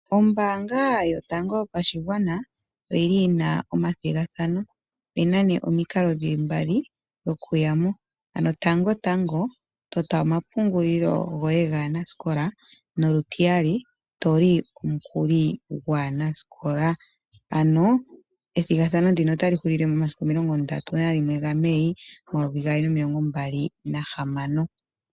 Ombaanga yotango yopashigwana oyili yina omathigathano. Oyina nee omikalo dhili mbali dhokuya mo, ano tango tango tota omapungulilo goye gaanasikola nolutiyali toli omukuli gwaanasikola. Ano ethigathano ndino otali hulile mo 31 Mei 2026.